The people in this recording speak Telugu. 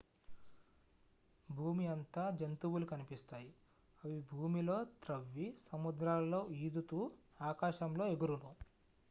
భూమి అంతా జంతువులు కనిపిస్తాయి అవి భూమిలో త్రవ్వి సముద్రాలలో ఈదుతూ ఆకాశంలో ఎగురును